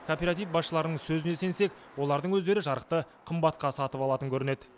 кооператив басшыларының сөзіне сенсек олардың өздері жарықты қымбатқа сатып алатын көрінеді